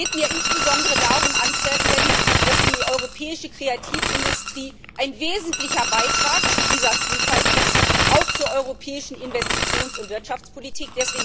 Es geht mir insbesondere darum, anzuerkennen, dass die europäische Kreativindustrie ein wesentlicher Beitrag zu dieser Vielfalt ist auch zur europäischen Investitions und Wirtschaftspolitik.